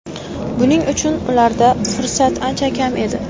Buning uchun ularda fursat ancha kam edi.